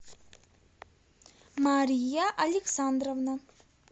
мария александровна